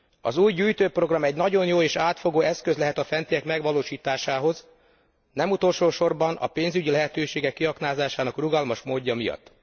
Az új gyűjtőprogram egy nagyon jó és átfogó eszköz lehet a fentiek megvalósításához, nem utolsósorban a pénzügyi lehetőségek kiaknázásának rugalmas módja miatt.